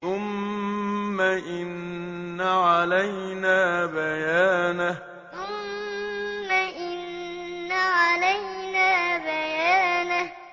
ثُمَّ إِنَّ عَلَيْنَا بَيَانَهُ ثُمَّ إِنَّ عَلَيْنَا بَيَانَهُ